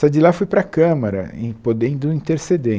Só de lá fui para a Câmara, e podendo interceder.